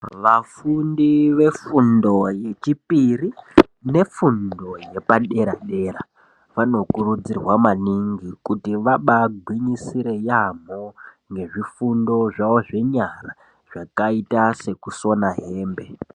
Vafundi vefundo yechipiri nefundo yepadera dera vanokurudzirwa maningi kuti vabaa gwinyisire yaamho ngezvifundo zvawo zvenyara zvakaita sekusona hembe.